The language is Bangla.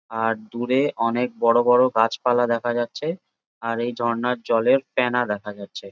আর দূরে অনেক বড়ো বড়ো গাছপালা দেখা যাচ্ছে আর এই ঝর্ণার জলে ফেনা দেখা যাচ্ছে।